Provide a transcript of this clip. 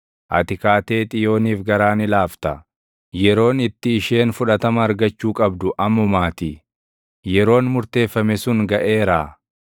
Ati kaatee Xiyooniif garaa ni laafta; yeroon itti isheen fudhatama argachuu qabdu ammumaatii; yeroon murteeffame sun gaʼeeraa.